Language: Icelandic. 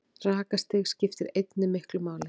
Rakastig skiptir einnig miklu máli.